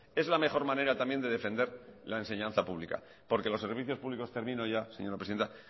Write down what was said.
es la mejor manera también de defender la enseñanza pública porque los servicios públicos termino ya señora presidenta